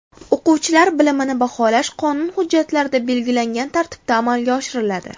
O‘quvchilar bilimini baholash qonun hujjatlarida belgilangan tartibda amalga oshiriladi.